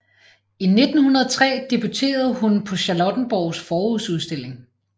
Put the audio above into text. I 1903 debuterede hun på Charlottenborgs Forårsudstilling